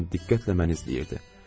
Lakin diqqətlə məni izləyirdi.